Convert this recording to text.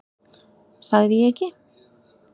Sagði ég ekki?